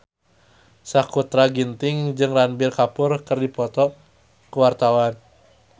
Sakutra Ginting jeung Ranbir Kapoor keur dipoto ku wartawan